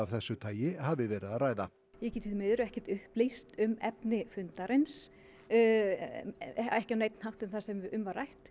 þessu tagi hafi verið að ræða ég get því miður ekki upplýst um efni fundarins ekki á neinn hátt um það sem um var rætt